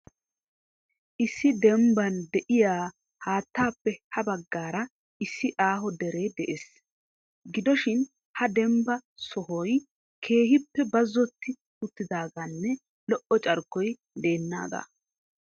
Issi dembban de'iyaa haattappe ha baggaara issi aaho dere de'ees. Gidoshin ha dembba sohoy keehippe bazzoti uttidaaganne lo"o carkkoy deenaagaa.